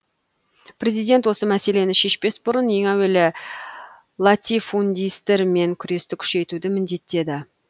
президент осы мәселені шешпес бұрын ең әуелі латифундистермен күресті күшейтуді міндеттеді